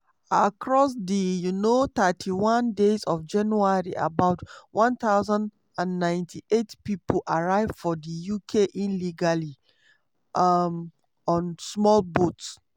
across di um 31 days of january about 1098 pipo arrive for di uk illegally um on small boats.